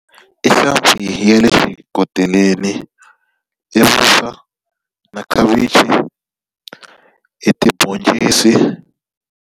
I hlampfi ya le xikoteleni, i vuswa, na khavichi, i tibhoncisi.